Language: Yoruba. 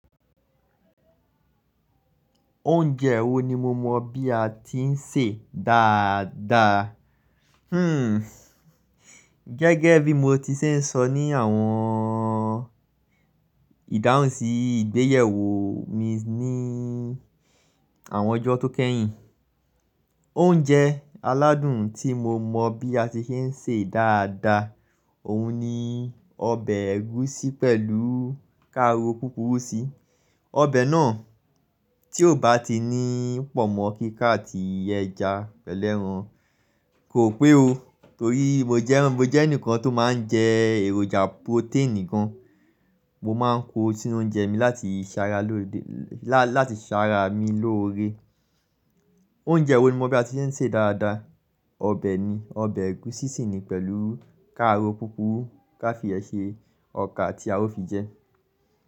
Oúnjẹ wo ni mo mọ bí a ti ń sè dáadáa? Hmm gẹ́gẹ́ bí mo ti ṣe ń sọ ní àwọn ìdáhùnsí ìgbéyèwò mi ní àwọn ọjọ́ tó kẹ́yìn. Oúnjẹ aládùn tí mo mọ bí a ti ṣe ń sè dáadáa, òun ni ọbẹ̀ ẹ̀gúsí pẹ̀lú káró púpùrú sí. Ọbẹ̀ náà tí ò bá ti ní pòmọ kíkà àti ẹja pẹ̀lu eran. Kò pé o. Torí mo jẹ́, mo jẹ́ ẹnìkan tó máa ń jẹ èròjà protein gan. Mo máa ń kó sí inú oúnjẹ mi láti ìṣara lóde, lá, láti ìṣara mi lóore. Oúnjẹ wo ni mo mọ̀ bí a ti ṣe ń sè dáadáa, ọbẹ̀ ni, ọbẹ̀ ẹ̀gúsí sì ni pẹ̀lú káró púpùrú ká fi iyen ṣe ọkà tí a ó fi jẹ.